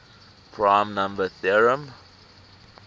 prime number theorem